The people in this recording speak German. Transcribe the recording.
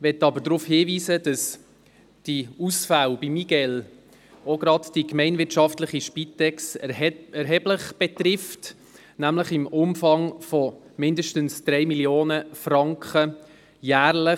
Ich möchte aber darauf hinweisen, dass die Ausfälle im Zusammenhang mit der MiGeL gerade auch die gemeinwirtschaftliche Spitex erheblich betreffen, nämlich im Umfang von mindestens 3 Mio. Franken jährlich.